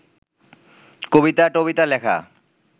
কবিতা-টবিতা লেখা